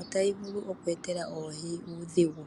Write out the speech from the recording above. ohayi vulu oku etela oohi uudhigu.